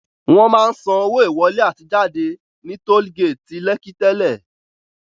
Wọn máa ń san owó ìwọlé àti ìjáde ní Toll gate Lekki tẹ́lẹ̀